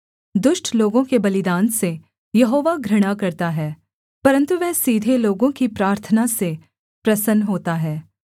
दुष्ट लोगों के बलिदान से यहोवा घृणा करता है परन्तु वह सीधे लोगों की प्रार्थना से प्रसन्न होता है